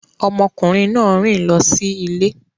Ọmọkùnrin náà rìn lọ sí ilé